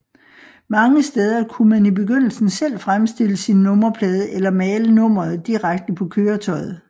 Mange steder kunne man i begyndelsen selv fremstille sin nummerplade eller male nummeret direkte på køretøjet